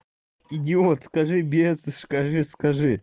идиот скажи бес скажи скажи